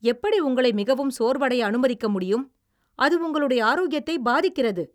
எப்படி உங்களை மிகவும் சோர்வடைய அனுமதிக்க முடியும், அது உங்களுடைய ஆரோக்கியத்தை பாதிக்கிறது!